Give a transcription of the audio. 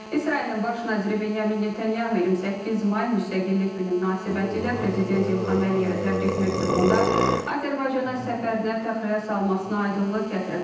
İsrailin baş naziri Benyamin Netanyahu 28 may müstəqillik günü münasibətilə prezident İlham Əliyevə təbrik məktubunda Azərbaycana səfərinə təxirə salmasına aydınlıq gətirib.